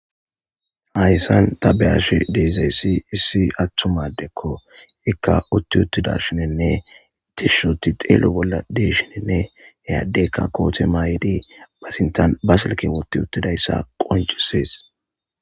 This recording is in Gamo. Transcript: hayssan ta beyash deezayssi issi attumadekko ikka utti uttida shinenne tishuti xeelo bolla deshinenne heyaddeykka koote maay7idi basintan basilke wotti uttidayssa qoncisees.